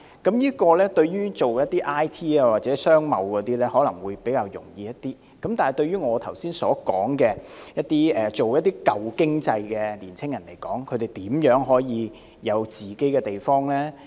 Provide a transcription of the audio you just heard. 從事 I & T 或商貿的青年人可能會較易用到，但對於我剛才所說從事舊經濟產業的年青人，試問他們如何能夠擁有自己的地方？